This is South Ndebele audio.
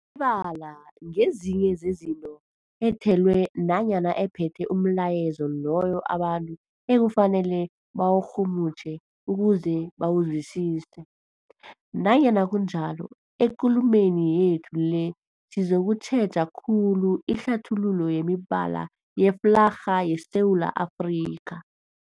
bala ngezinye zezinto ethelwe nanyana ephethe umlayezo loyo abantu ekufanele bawurhumutjhe ukuze bawuzwisise. Nanyana kunjalo, ekulumeni yethu le sizokutjheja khulu ihlathululo yemibala yeflarha yeSewula Afrika.